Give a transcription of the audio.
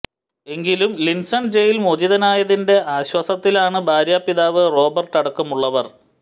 എങ്കിലും Linson jail മോചിതനായതിന്റെ ആശ്വാസത്തിലാണ് ഭാര്യാ പിതാവ് റോബർട്ട് അടക്കമുള്ളവർ